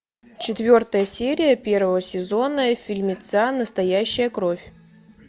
четвертая серия первого сезона фильмеца настоящая кровь